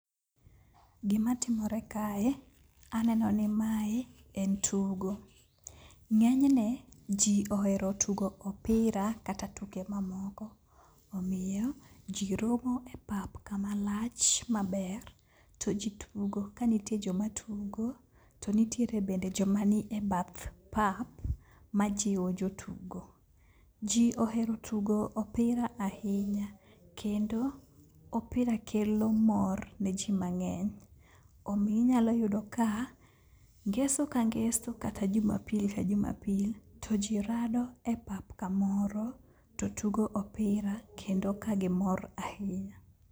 Gimatimore kae, aneno ni mae en tugo. Ng'enyne ji ohero tugo opira kata tuke mamoko, omiyo ji romo e pap kamalach maber to ji tugo. Ka nitie joma tugo to nitiere bende joma ni e bath pap ma jiwo jotugo. Ji ohero tugo opira ahinya kendo opira kelo mor ne ji mang'eny. omi inyalo yudo ka ngeso ka ngeso kata jumapil ka jumapil to ji rado e pap kamoro to tugo opira kendo ka gimor ahinya.